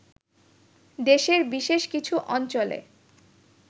দেশের বিশেষ কিছু অঞ্চলে